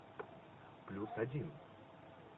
плюс один